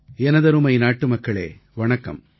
எனதருமை நாட்டுமக்களே வணக்கம்